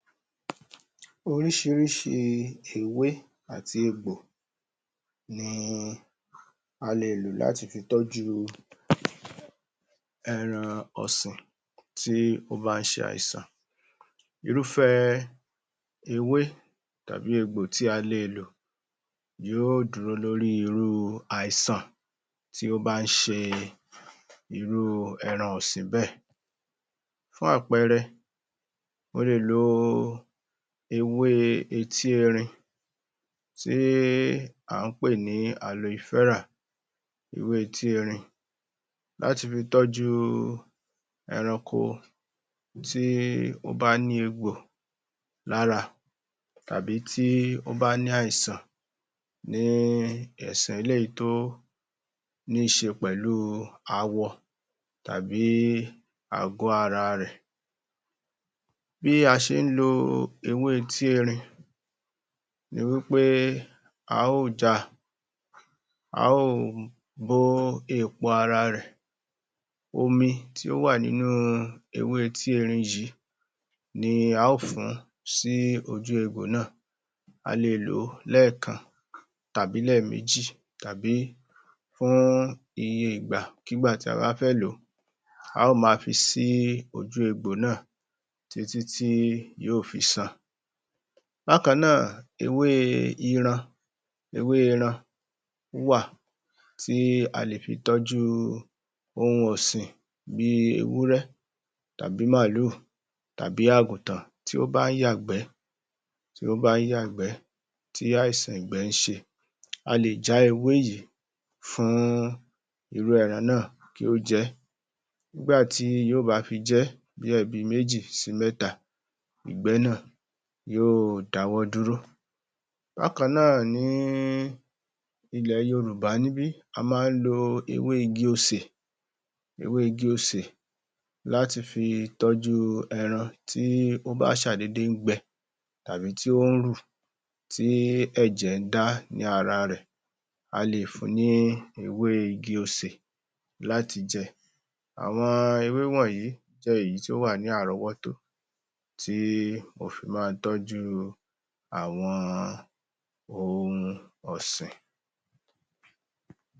Oríṣiríṣi ewé àti egbò ní a lè lò láti fi tọ́jú ohun ọ̀sìn tí ó bá ń ṣe àìsàn irúfẹ́ ewé tàbí egbò tí a lè lò yóò dúró lórí irú àìsàn tí ó bá ń ṣe irú ẹran ọ̀sìn bẹ́ẹ̀ fún àpẹẹrẹ, o lè lo ewé etí erin tí à ń pè ní aloe vera ewé etí erin láti fi tọ́jú eranko tí ó bá ní egbò lára tàbí tí ó bá ní àìsàn ní ẹ̀sẹ̀ eléyìí tó ní í ṣe pẹ̀lú awọ tàbí àgọ́ ara rẹ̀ bí a ṣe ń lo ewé etí erin ni wí pé a ó ja a ó bó èpo ara rẹ̀ omi tí ó wà nínú ewé etí erin yìí ni a ó fùn ún sí ojú egbò náà a lè lò ó lẹ́kan tàbí lẹ́ẹ̀méjì, tàbí fún iye ìgbàkígbà tí a bá fẹ́ lò ó a ó máa fi sí ibi ojú egbò náà títí tí egbò náà yóò fi san Bákan náà, ewé iran...ewé iran wà tí a lè fi tọ́jú ohun ọ̀sìn bí ewúrẹ́ tàbí màlúù tàbí àgùntàn tí ó bá ń yàgbẹ́ tí ó bá ń yàgbẹ́ tí àìsàn ìgbẹ́ ń ṣe a lè jeh ewé yìí fún irú ẹran náà kí ó jẹ ẹ́ nígbà tí yóò bá fi jẹ́ bí ẹ̀ẹ̀mejì sih mẹ́ta ìgbẹ́ náà yóò dáwọ́ dúró Bákan náà, ní ilẹ̀ yorùbá níbí a máa ń lo ewé igi osè ewé igi osè láti fi tọ́jú ẹran tí ó bá ń ṣàdédé ń gbẹ tàbí tí ó ń rù tí ẹ̀jẹ̀ dá ní ara rẹ̀ a lè fun ní ewé igi osè láti jẹ àwọn ewé wọ̀nyí jẹ́ èyí tí ó wà ní àrọ́wọ́tó tí o fi máa tọ́jú àwọn ohun ọ̀sìn